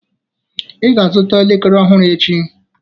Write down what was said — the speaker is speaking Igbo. Ị ga-azụta elekere ọhụrụ echi